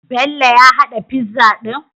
Bello ya hada pizza din?